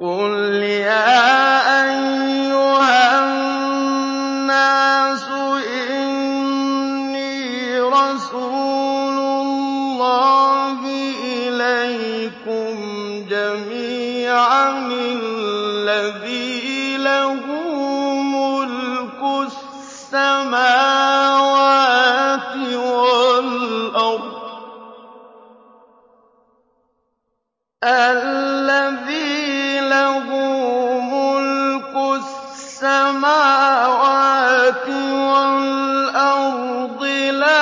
قُلْ يَا أَيُّهَا النَّاسُ إِنِّي رَسُولُ اللَّهِ إِلَيْكُمْ جَمِيعًا الَّذِي لَهُ مُلْكُ السَّمَاوَاتِ وَالْأَرْضِ ۖ لَا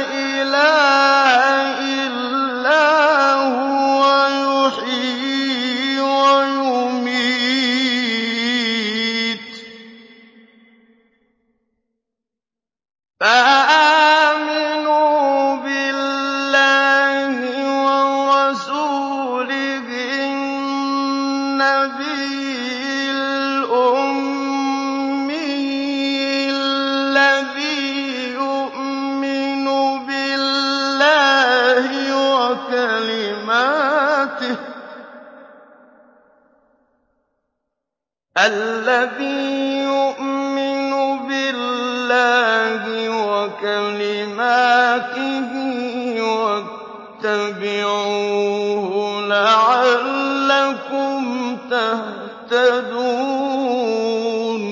إِلَٰهَ إِلَّا هُوَ يُحْيِي وَيُمِيتُ ۖ فَآمِنُوا بِاللَّهِ وَرَسُولِهِ النَّبِيِّ الْأُمِّيِّ الَّذِي يُؤْمِنُ بِاللَّهِ وَكَلِمَاتِهِ وَاتَّبِعُوهُ لَعَلَّكُمْ تَهْتَدُونَ